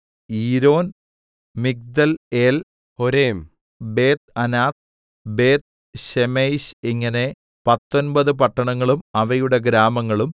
Yiron Migdalel Horem Bethanath Bethshemesh ഇങ്ങനെ പത്തൊമ്പത് പട്ടണങ്ങളും അവയുടെ ഗ്രാമങ്ങളും